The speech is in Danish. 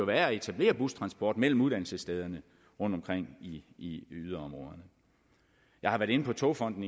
være at etablere bustransport mellem uddannelsesstederne rundtomkring i yderområderne jeg har været inde på togfonden